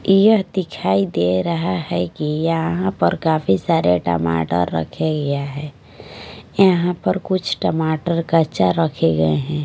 यह दिखाई दे रहा है कि यहाँ पर काफी सारे टमाटर रखे गया हैं यहाँ पर कुछ टमाटर कच्चा रखे गए हैं।